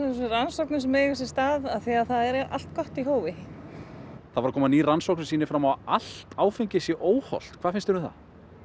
þessum rannsóknum sem eiga sér stað af því að það er allt gott í hófi það var að koma ný rannsókn sem sýnir fram á allt áfengi sé óhollt hvað finnst þér um það